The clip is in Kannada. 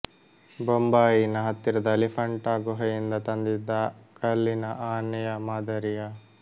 ಬೊಂಬಾಯಿನ ಹತ್ತಿರದ ಎಲಿಫೆಂಟಾ ಗುಹೆಯಿಂದ ತಂದಿದ್ದ ಕಲ್ಲಿನ ಆನೆಯ ಮಾದರಿಯ